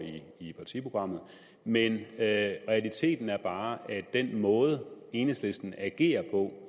i partiprogrammet men realiteten er bare at den måde enhedslisten agerer på